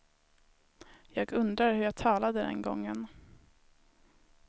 Jag undrar hur jag talade den gången.